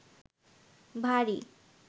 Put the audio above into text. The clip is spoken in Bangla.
ভারী